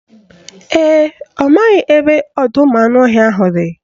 Ee, ọ maghị ebe ọdọụmụanụọhịa ahụ dị